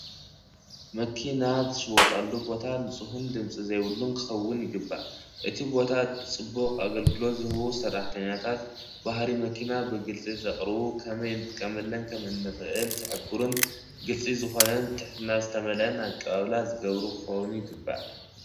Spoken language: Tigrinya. መኪና ዝሽወጣሉ ቦታ ንፁሁን ድምፂ ዘይብሉን ክኸውን ይግባእ እቲ ቦታ ፅቡቕ ኣገልግሎ ዝህቡ ሰራሕተኛታት ባህሪ መኪና ብግልፂ ዘቕርቡ ከመይ ንጥቀመለን ከም እንክእል ዝሕቡርን ግልፂ ዝኾነ ብትሕትና ዝተመልኣ ኣቀባብላ ዝገብሩ ክኮኑ ይግበእ።